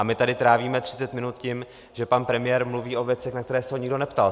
A my tady trávíme 30 minut tím, že pan premiér mluví o věcech, na které se ho nikdo neptal.